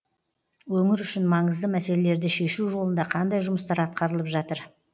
өңір үшін маңызды мәселелерді шешу жолында қандай жұмыстар атқарылып жатыр